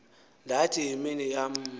ndathi yimini yam